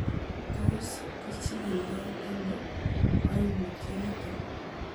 Tos kichikildo ono koimutioniton?